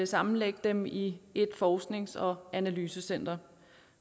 sammenlægge dem i et forsknings og analysecenter